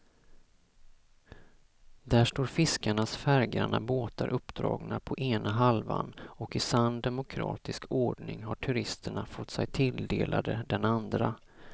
Där står fiskarnas färggranna båtar uppdragna på ena halvan och i sann demokratisk ordning har turisterna fått sig tilldelade den andra.